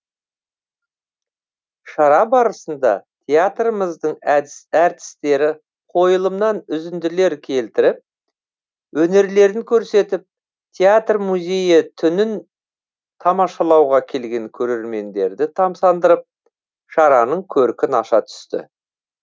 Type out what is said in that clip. шара барысында театрымыздың әртістері қойылымнан үзінділер келтіріп өнерлерін көрсетіп театр музейі түнін тамашалауға келген көрермендерді тамсандырып шараның көркін аша түсті